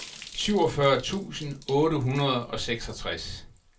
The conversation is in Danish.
syvogfyrre tusind otte hundrede og seksogtres